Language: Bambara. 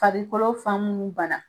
Farikolo fan munnu ban na.